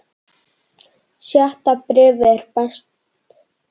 Sjötta bréfið er best.